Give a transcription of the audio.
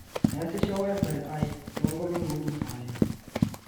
meesisho wifi aai too nkolongi uni sahi